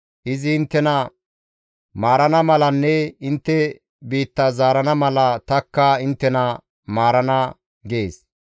Izi inttena maarana malanne intte biitta zaarana mala tanikka inttena maarana› gees.